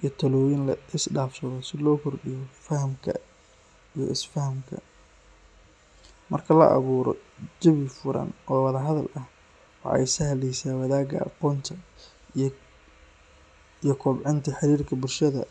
iyo talooyin la isdhaafsado si loo kordhiyo fahamka iyo isfahamka. Marka la abuuro jawi furan oo wada hadal ah, waxa ay sahleysaa wadaagga aqoonta iyo kobcinta xiriirka bulshada.